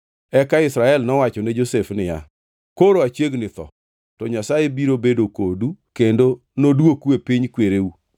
Eka Israel nowacho ne Josef niya, “Koro achiegni tho, to Nyasaye biro bedo kodu kendo nodwoku e piny kwereu.